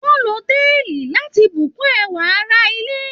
Wọn lò táìlì láti bù kún ẹwà àrà ilé.